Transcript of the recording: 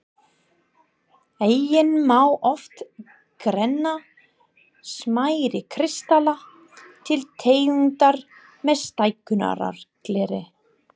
Einnig má oft greina smærri kristalla til tegundar með stækkunargleri.